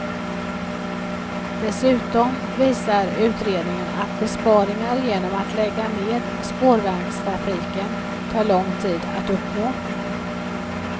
Dessutom visar utredningen att besparingar genom att lägga ned spårvagnstrafik tar lång tid att uppnå.